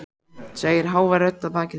segir hávær rödd að baki þeim.